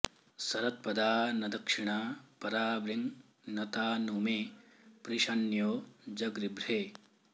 सर॑त्प॒दा न दक्षि॑णा परा॒वृङ्न ता नु मे॑ पृश॒न्यो॑ जगृभ्रे